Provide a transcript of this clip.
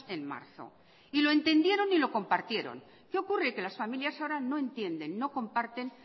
en marzo y lo entendieron y lo compartieron qué ocurre que las familias ahora no entienden no comparten